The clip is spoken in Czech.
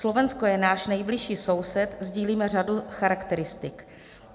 Slovensko je náš nejbližší soused, sdílíme řadu charakteristik.